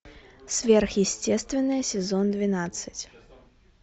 сверхъестественное сезон двенадцать